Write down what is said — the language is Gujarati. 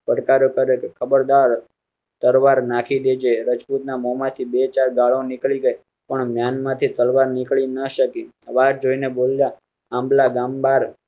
પડકારો કરે તોહ ખબર દાર તલવાર નાખી દેજે રજપૂત ના મોંમાંથી બેચાર ગાળો નીકળી ગઈ, પણ મ્યાન માંથી તલવાર નીકળી ન શકી બોયલ